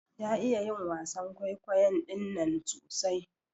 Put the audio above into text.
Ya iya yin wasan kwaikwayon ɗinnan sosai.